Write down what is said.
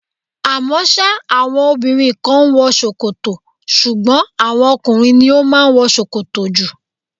À mọ́ sá àwọn obìnrin kan ń wọ ṣòkòtò, ṣùgbọ́n àwọn ọkùnrin ni ó máa ń wọ ṣòkòtò jù.